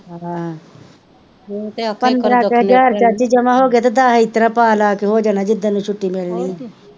ਪੰਦਰਾਂ ਕ ਹਜ਼ਾਰ ਚਾਚੀ ਜਮਾਂ ਹੋ ਗਏਆ ਤਾਂ ਦੱਸ ਇਹਤਰਾਂ ਪਾ ਲਾ ਕੇ ਹੋ ਜਾਣਾ ਜਿਸਦਿਨ ਨੂੰ ਛੁੱਟੀ ਮਿਲਣੀ ਹੋਰ ਕੀ,